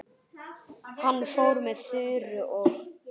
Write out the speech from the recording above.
Hann fór með Þuru og